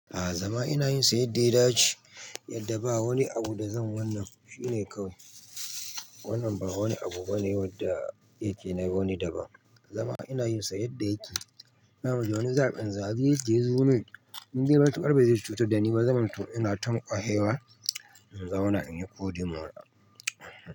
A'a zama ina yinsa yadda ya dace, yadda ba wani abu da zan wannan shine kawai. Wannan ba wani abu bane wanda yake na wani daban. Zama ina yinsa yadda yake. Na wani zaɓin zabe da yazo ne, in dai matuƙar ba zai cutar dani ba, zaman to ina tamƙo hewa, in zauna in yi ƙodi mona.